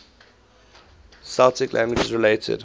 celtic languages related